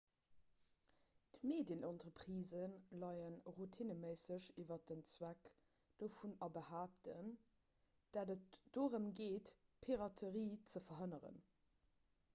d'medienentreprisë léie routineméisseg iwwer den zweck dovun a behaapten datt et dorëm geet piraterie ze verhënneren